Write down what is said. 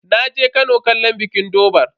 Naje Kano kallon bikin durbar.